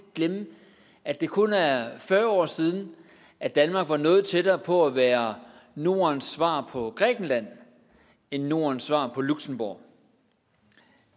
glemme at det kun er er fyrre år siden at danmark var noget tættere på at være nordens svar på grækenland end nordens svar på luxembourg